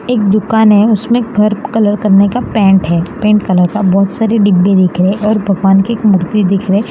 एक दुकान है उसमें घर कलर करने का पेंट है पेंट कलर का बहोत सारे डिब्बे दिख रहे हैं और भगवान की एक मूर्ति दिख रही --